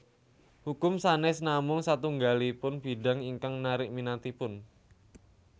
Hukum sanes namung satunggalipun bidang ingkang narik minatipun